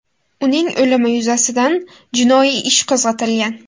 Uning o‘limi yuzasidan jinoiy ish qo‘zg‘atilgan.